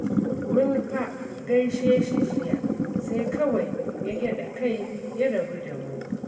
Mun fa gaishe shi jiya, sai kawai ya gyaɗa kai ya rabu da mu